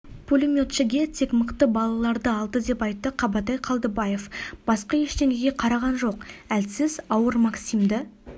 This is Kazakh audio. пулеметшіге тек мықты балаларды алды деп айтты қабатай қалдыбаев басқа ештеңеге қараған жоқ әлсіз ауыр максимді